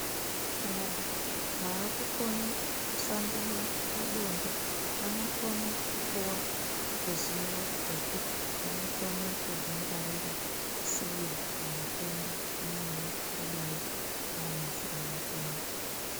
Vanthu vaakukone kusangana pabonde vanokone kupuwa ruzivo rwekuti vanokone kuzvingwarira sei pamatenda amweni akadai ngaana shuramatongo.